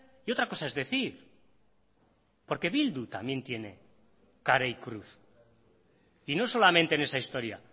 y otra cosa es decir porque bildu también tiene cara y cruz y no solamente en esa historia